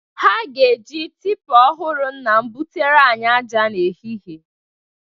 Ha ga-eji tipa ọhụrụ nna m bụtere anyị aja n'ehihe.